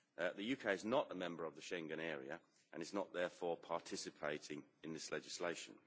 The UK is not a member of the Schengen area and is not therefore participating in this legislation.